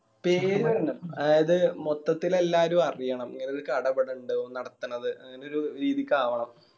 പേര് വരണം അതായത് മൊത്തത്തിൽ എല്ലാരു അറിയണം ഇങ്ങനെ ഒരു കട ഇവിടെ ഇണ്ട് ഓന് നടത്തിണത് അങ്ങനൊരു രീതിക്ക് ആവണം